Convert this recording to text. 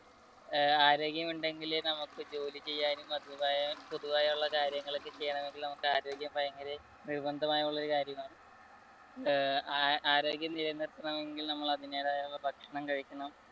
ആരോഗ്യം ഉണ്ടെങ്കിലേ നമുക്ക് ജോലി ചെയ്യാൻ പൊതുപൊതുവായ കാര്യങ്ങൾ ഒക്കെ ചെയ്യണമെങ്കിൽ നമുക്ക് ആരോഗ്യം ഭയങ്കര നിർബന്ധമായുള്ള കാര്യമാണ് ആരോഗ്യം നിലനിർത്തണമെങ്കിൽ നമ്മൾ അതിന്റെതായ ഭക്ഷണം കഴിക്കണം.